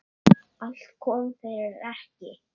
Allt kom fyrir ekki.